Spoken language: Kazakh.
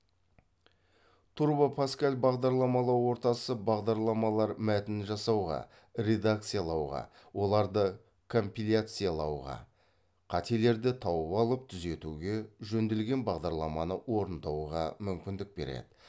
турбо паскаль бағдарламалау ортасы бағдарламалар мәтінін жасауға редакциялауға оларды компиляциялауға қателерді тауып алып түзетуге жөнделген бағдарламаны орындауға мүмкіндік береді